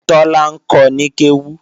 Tọ́lá ń kọ ní kéwú